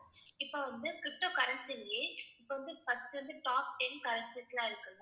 இப்ப வந்து ptocurrency லயே இப்ப வந்து first வந்து top ten currencies எல்லாம் இருக்குல்ல?